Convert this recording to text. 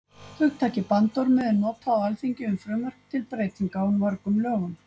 hugtakið bandormur er notað á alþingi um frumvörp til breytinga á mörgum lögum